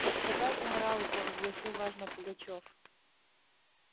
господа енаралы провозгласил важно пугачёв